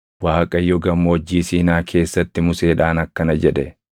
Waaqayyo Gammoojjii Siinaa keessatti Museedhaan akkana jedhe;